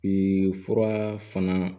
fura fana